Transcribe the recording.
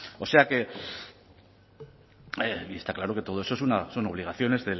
o sea que está claro que todo eso son obligaciones